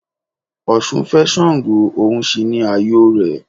Ọ̀sun fé Sàngó, òun sì ni ààyò rẹ̀